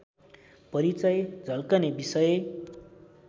परिचय झल्कने विषय